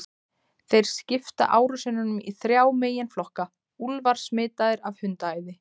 Þeir skipta árásunum í þrjá meginflokka: Úlfar smitaðir af hundaæði.